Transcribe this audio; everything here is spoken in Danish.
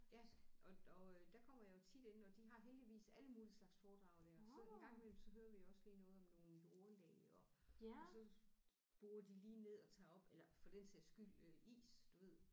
Ja og og øh der kommer jeg jo tit inde og de har heldigvis alle mulige slags foredrag der så en gang imellem så hører vi også lige noget om nogle jordlag og og så borer de lige ned og tager op eller for den sags skyld øh is du ved